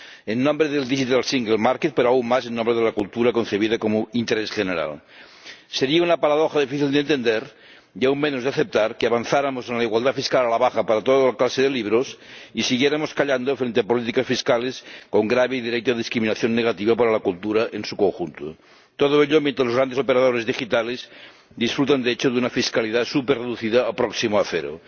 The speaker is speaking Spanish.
en nombre del mercado único digital, pero aún más, en nombre de la cultura concebida como interés general. Sería una paradoja difícil de entender, y aún menos de aceptar, que avanzáramos en la igualdad fiscal a la baja para toda clase de libros y siguiéramos callando frente a políticas fiscales con grave y directa discriminación negativa para la cultura en su conjunto, todo ello mientras los grandes operadores digitales disfrutan, de hecho, de una fiscalidad superreducida próxima a cero.